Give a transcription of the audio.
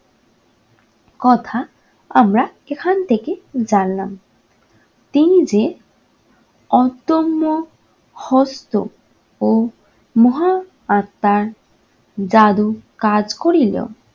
কথা আমরা এখান থেকে জানলাম। তিনি যে অদম্য হস্ত ও মহা আত্মার জাদু কাজ করিল